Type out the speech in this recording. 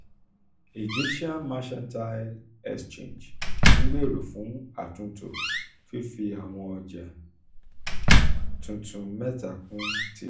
egyptian mercantile exchange (emx) n gbero fun atunto fifi awọn ọja fifi awọn ọja tuntun meta kun tile